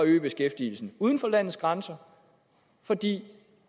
øge beskæftigelsen uden for landets grænser fordi